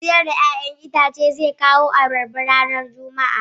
Mai siyar da 'ya'yan itace zai kawo abarba ranar Juma'a.